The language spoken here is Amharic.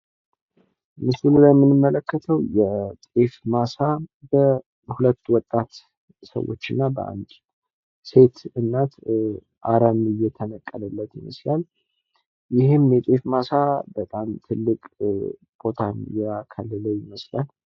ምስሉ ላይ የምንመለከተው የጤፍ ማሳ በሁለት ወጣት ሰዎች እና በአንድ ሴት እናት አረም እየተነቀለለት ሲሆን ይህም የጤፍ ማሳ በጣም ትልቅ ቦታን ያካለለ ይመስላል።